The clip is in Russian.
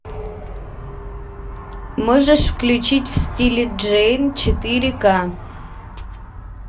можешь включить в стиле джейн четыре ка